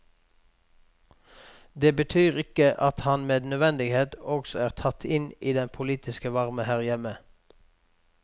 Det betyr ikke at han med nødvendighet også er tatt inn i den politiske varme her hjemme.